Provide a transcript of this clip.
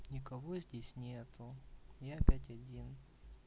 никого здесь нет я опять один